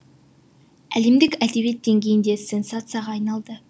әлемдік әдебиет деңгейінде сенсацияға айналды